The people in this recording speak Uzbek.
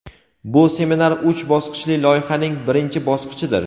Bu seminar uch bosqichli loyihaning birinchi bosqichidir.